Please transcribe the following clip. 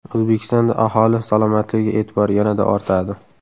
O‘zbekistonda aholi salomatligiga e’tibor yanada ortadi.